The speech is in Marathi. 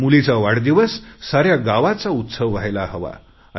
मुलीचा वाढदिवस साऱ्या गावाचा उत्सव व्हायला हवा